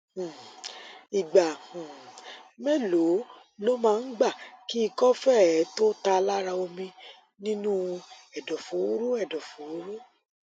um ìgbà um mélòó ló máa gbà kí ikọ fée tó tá lára omi nínú u èdòfóró èdòfóró